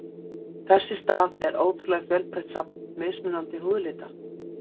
Þess í stað er ótrúlega fjölbreytt safn mismunandi húðlita.